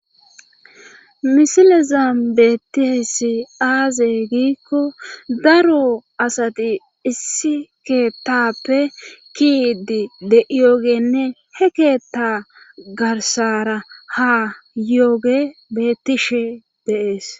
misilezam bettisi aaze giikko daro asati issi keettappe kiidi de7iyogenne he keetta garsara ha yooge bettishe deees